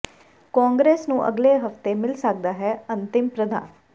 ਕਾਂਗਰਸ ਨੂੰ ਅਗਲੇ ਹਫਤੇ ਮਿਲ ਸਕਦਾ ਹੈ ਅੰਤ੍ਰਿਮ ਪ੍ਰਧਾਨ